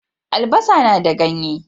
Albasa na da ganye.